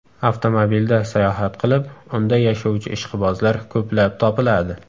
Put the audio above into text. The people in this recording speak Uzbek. Avtomobilda sayohat qilib, unda yashovchi ishqibozlar ko‘plab topiladi.